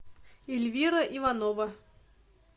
ильвира иванова